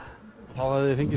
þá hafiði fengið